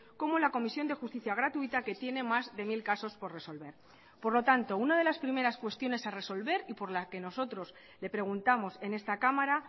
como la comisión de justicia gratuita que tiene más de mil casos por resolver por lo tanto una de las primeras cuestiones a resolver y por la que nosotros le preguntamos en esta cámara